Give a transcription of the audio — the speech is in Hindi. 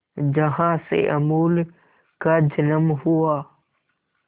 जहां से अमूल का जन्म हुआ